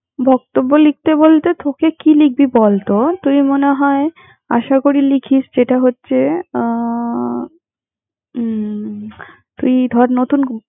বক্তব্য লিখতে বলতে তোকে কি লিখবি বল তোর? তুই মনে হয়, আশা করি লিখিস যেটা হচ্ছে আহ উম তুই ধর নতুন।